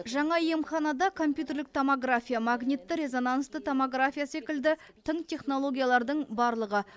жаңа емханада компьютерлік томография магнитті резонансты томография секілді тың технологиялардың барлығы